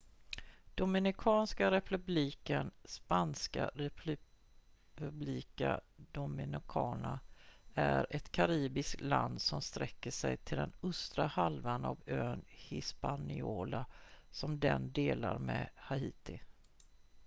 dominikanska republiken spanska: república dominicana är ett karibiskt land som sträcker sig till den östra halvan av ön hispaniola som den delar med haiti